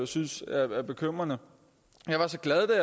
synes er bekymrende jeg var så glad